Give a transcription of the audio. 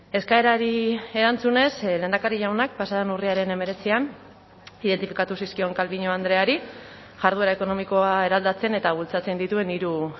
eskaerari erantzunez lehendakari jaunak pasa den urriaren hemeretzian identifikatu zizkion calviño andreari jarduera ekonomikoa eraldatzen eta bultzatzen dituen hiru